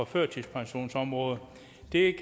førtidspensionsområdet